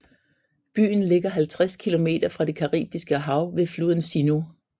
Byen ligger 50 km fra det Caribiske hav ved floden Sinú